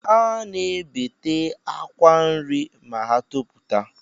A na-ebete akwa nri ma ha toputa